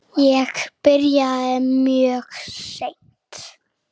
Ég byrjaði mjög seint.